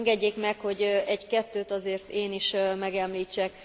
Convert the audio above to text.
Engedjék meg, hogy egy kettőt azért én is megemlítsek.